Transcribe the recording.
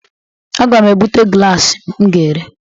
Aga m ebuta glasi m ga-ere.